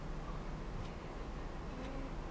ਹੁ